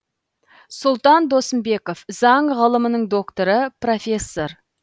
сұлтан досымбеков заң ғылымының докторы профессор